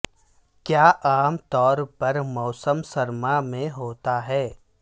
کیا عام طور پر موسم سرما میں ہوتا ہے